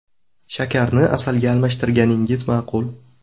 Shakarni asalga almashtirganingiz ma’qul.